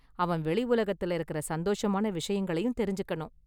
அவன் வெளி உலகத்துல இருக்குற சந்தோஷமான விஷயங்களையும் தெரிஞ்சுக்கணும்.